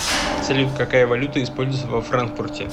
салют какая валюта используется во франкфурте